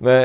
né.